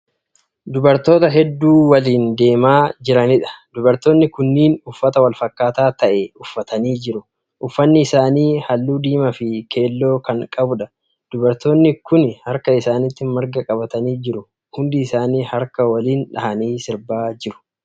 Dubartoota hedduu waliin deemaa jiraniidha. dubartoonni kunniin uffata walfakkaataa ta'e uffatanii jiru. uffanni isaanii halluu diimaa Fi keelloo Kan qabuudha. dubartoonni Kuni harka isaaniitti marga qabatanii jiru. hundi isaanii harka waliin dhahanii sirbaa jiru.